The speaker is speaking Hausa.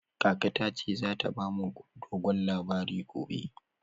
Kaka ta ce za ta ba mu dogon labari gobe.